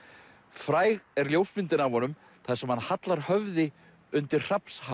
fræg er ljósmyndin af honum þar sem hann hallar höfði undir